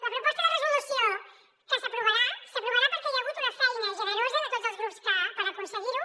la proposta de resolució que s’aprovarà s’aprovarà perquè hi ha hagut una feina generosa de tots els grups per aconseguir ho